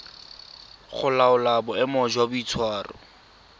go laola boemo jwa boitshwaro